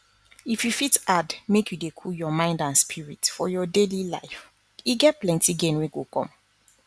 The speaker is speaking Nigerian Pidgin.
if you fit add make you dey cool your mind and spirit for your daily life e get plenty gain wey go come